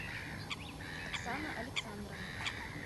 оксана александровна